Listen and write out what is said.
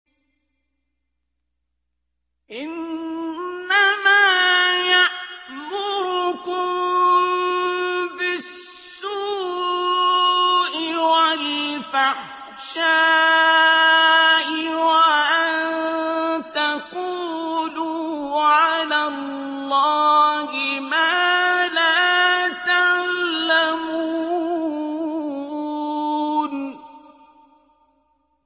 إِنَّمَا يَأْمُرُكُم بِالسُّوءِ وَالْفَحْشَاءِ وَأَن تَقُولُوا عَلَى اللَّهِ مَا لَا تَعْلَمُونَ